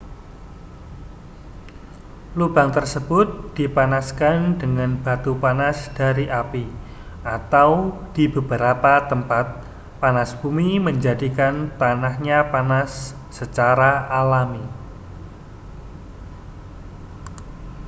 lubang tersebut dipanaskan dengan batu panas dari api atau di beberapa tempat panas bumi menjadikan tanahnya panas secara alami